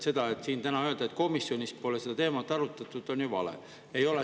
Täna siin öelda, et komisjonis pole seda teemat arutatud, on ju vale.